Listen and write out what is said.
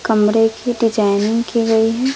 कमरे की डिजाइनिंग की गई है।